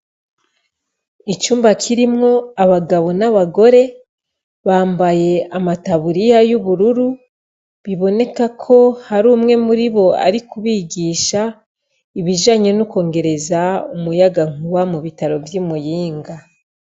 Icumba kirimwo abagabo n'abagore bambaye amataburiya y'ubururu biboneka ko hari umwe mu ribo ari kubigisha ibijanye no bokongera umuyankuba mu bitaro vyi Muyinga.